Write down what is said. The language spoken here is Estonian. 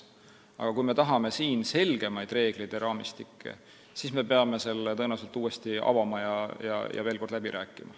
Aga kui me tahame selgemaid reegleid ja raamistikke, siis me peame selle teema tõenäoliselt uuesti avama ja veel kord läbi rääkima.